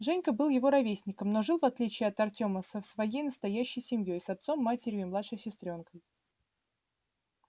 женька был его ровесником но жил в отличие от артема со своей настоящей семьёй с отцом матерью и младшей сестрёнкой